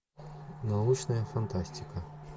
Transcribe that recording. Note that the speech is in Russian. научная фантастика